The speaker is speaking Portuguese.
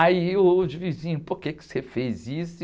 Aí os vizinhos, por que você fez isso?